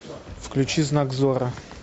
включи знак зорро